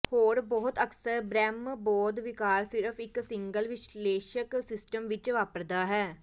ਹੋਰ ਬਹੁਤ ਅਕਸਰ ਬ੍ਰਹਿਮਬੋਧ ਵਿਕਾਰ ਸਿਰਫ ਇੱਕ ਸਿੰਗਲ ਵਿਸ਼ਲੇਸ਼ਕ ਸਿਸਟਮ ਵਿੱਚ ਵਾਪਰਦਾ ਹੈ